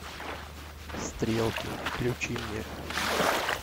стрелки включи мне